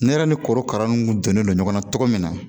Ne yɛrɛ ni korokara nu donnen don ɲɔgɔnna cogo min na